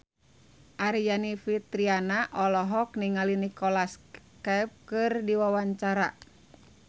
Aryani Fitriana olohok ningali Nicholas Cafe keur diwawancara